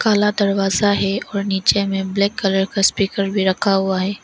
काला दरवाजा है और नीचे में ब्लैक कलर का स्पीकर भी रखा हुआ है।